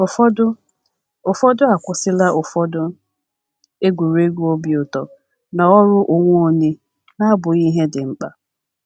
Ụfọdụ Ụfọdụ akwụsịla ụfọdụ egwuregwu obi ụtọ na ọrụ onwe onye na - abụghị ihe dị mkpa.